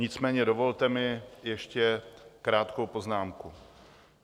Nicméně dovolte mi ještě krátkou poznámku.